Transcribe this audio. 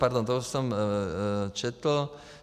Pardon, to už jsem četl.